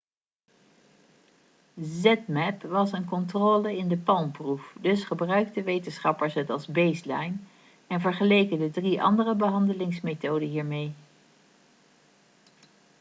zmapp was een controle in de palm-proef dus gebruikten wetenschappers het als baseline en vergeleken de drie andere behandelmethoden hiermee